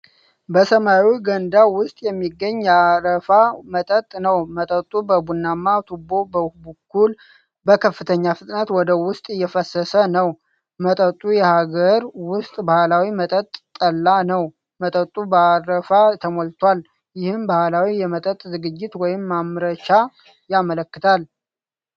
በሰማያዊ ገንዳ ውስጥ የሚገኝ የአረፋ መጠጥ ነው። መጠጡ በቡናማ ቱቦ በኩል በከፍተኛ ፍጥነት ወደ ውስጥ እየፈሰሰ ነው። መጠጡ የሀገር ውስጥ ባህላዊ መጠጥ ጠላ ነው ። መጠጡ በአረፋ ተሞልቷል። ይህም ባህላዊ የመጠጥ ዝግጅት ወይም ማምረቻ ያመለክታል።